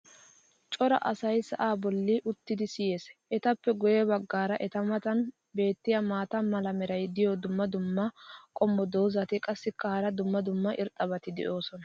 cora asay sa"aa boli uttidi siyees. etappe guye bagaara eta matan beetiya maata mala meray diyo dumma dumma qommo dozzati qassikka hara dumma dumma irxxabati doosona.